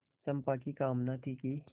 चंपा की कामना थी कि